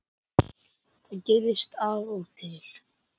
Þetta gerist af og til